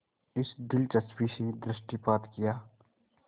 इस दिलचस्पी से दृष्टिपात किया